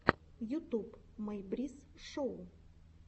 ютуб мэй брисс шоу